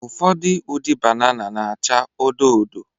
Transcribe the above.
Ụfọdụ ụdị banana na-acha odo odo